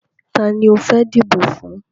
Tani o fẹ́ dìbò fún?